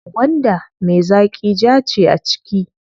Gwanda me zaƙi jaa ce a ciki.